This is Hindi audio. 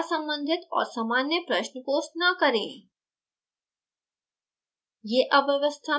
कृपया असंबंधित और सामान्य प्रश्न post न करें